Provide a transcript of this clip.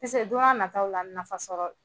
Piske don n'a na taw la , nafa bɛ sɔrɔ.